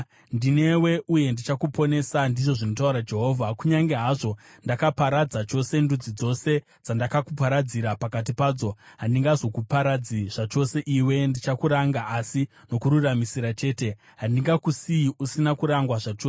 Ndinewe uye ndichakuponesa,’ ndizvo zvinotaura Jehovha. ‘Kunyange zvazvo ndakaparadza chose ndudzi dzose dzandakakuparadzira pakati padzo, handingazokuparadze zvachose iwe. Ndichakuranga asi nokururamisira chete; handingakusiyi usina kurangwa zvachose.’